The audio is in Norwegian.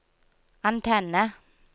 antenne